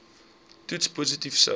toets positief sou